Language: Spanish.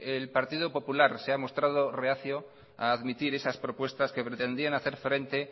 el partido popular se ha mostrado reacio a admitir esas propuestas que pretendían hacer frente